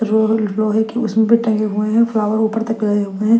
रोरिल लोहे की उसमें भी टंगे हुए हैं फ्लावर ऊपर तक रहे हुए हैं।